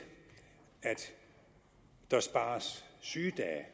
at der spares sygedage